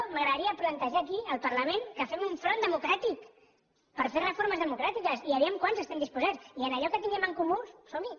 m’agradaria plantejar aquí al parlament que fem un front democràtic per fer reformes democràtiques i vejam quants hi estem disposats i en allò que tinguem en comú som hi